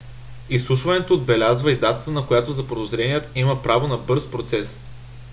изслушването отбелязва и датата на която заподозреният има право на бърз процес